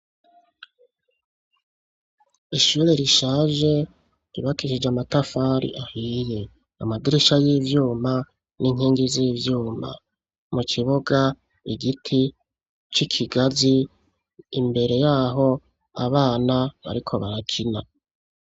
Ishure rishaje ryubakishije amatafari ahiye. Amadirisha y' ivyuma n'inkingi z'ivyuma. Mu kibuga, igiti c' ikigazi, imbere yaho abana ariko barakina.